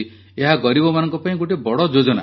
ଏହା ଗରିବମାନଙ୍କ ପାଇଁ ଗୋଟିଏ ବହୁତ ବଡ଼ ଯୋଜନା